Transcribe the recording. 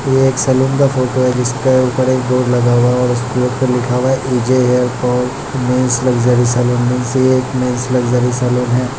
ये एक सैलून का फोटो है जिसके ऊपर एक बोर्ड लगा हुआ है और उस बोर्ड पर लिखा हुआ है E J. Hair fall men's luxury salon means ये एक मेन्स लक्ज़री सैलून है।